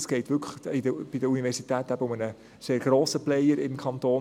Es geht bei der Universität eben wirklich um einen sehr grossen Player im Kanton.